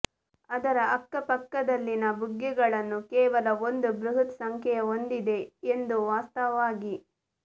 ಅದರ ಅಕ್ಕಪಕ್ಕದಲ್ಲಿನ ಬುಗ್ಗೆಗಳನ್ನು ಕೇವಲ ಒಂದು ಬೃಹತ್ ಸಂಖ್ಯೆಯ ಹೊಂದಿದೆ ಎಂದು ವಾಸ್ತವವಾಗಿ